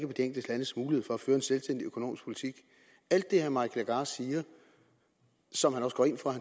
de enkelte landes mulighed for at føre en selvstændig økonomisk politik alt det herre mike legarth siger og som han også går ind for